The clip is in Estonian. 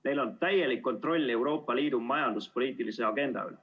Neil on täielik kontroll Euroopa Liidu majanduspoliitilise agenda üle.